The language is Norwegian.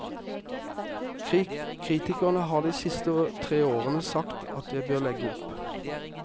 Kritikerne har de siste tre årene sagt at jeg bør legge opp.